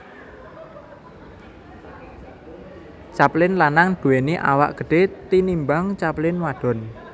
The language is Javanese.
Capelin lanang duwéni awak gedhe tinimbang capelin wadon